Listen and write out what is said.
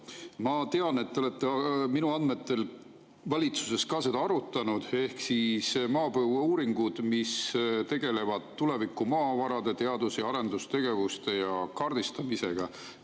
Minu andmetel te olete ka valitsuses arutanud maapõueuuringuid, mis tegelevad tuleviku maavarade teadus- ja arendustegevuste ja kaardistamisega.